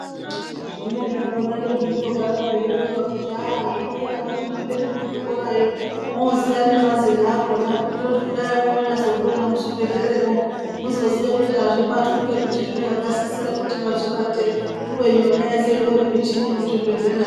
Zvimweni zvakona ndozvogara zveironzwa kuti haaa zvoda kuti muende nekuchikorayo moziya nemazino akona kuti kudai monyazozviona muzvibhedhleramwo muzoziya kuti azvibatwi ngekuti zvine vakasisira kuti vazvibate ubeni yona michini yemuzvibhedhlera mwo.